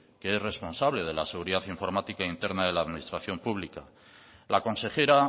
que es responsable de la seguridad informática interna de la administración pública la consejera